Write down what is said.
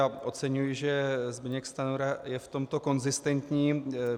A oceňuji, že Zbyněk Stanjura je v tomto konzistentní.